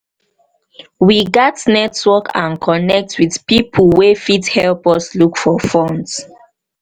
we gats network and connect with pipo wey fit help us look for funds.